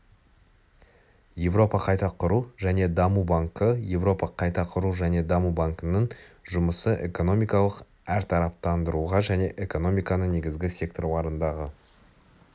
еуропа қайта құру және даму банкі еуропа қайта құру және даму банкінің жұмысы экономикалық әртараптандыруға және экономиканың негізгі секторларындағы